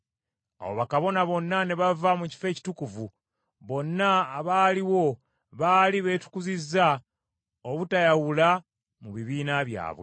Awo bakabona bonna ne bava mu Kifo Ekitukuvu. Bonna abaaliwo baali beetukuzizza, obutayawula mu bibiina byabwe.